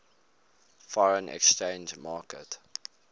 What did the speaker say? foreign exchange market